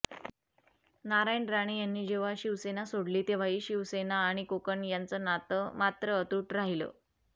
नारायण राणे यांनी जेव्हा शिवसेना सोडली तेव्हाही शिवसेना आणि कोकण यांचं नातं मात्र अतूट राहीलं